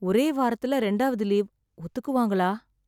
ஒரே வாரத்துலே ரெண்டாவது லீவ். ஒத்துக்குவாங்களா?